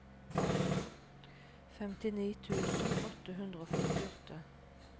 femtini tusen åtte hundre og førtiåtte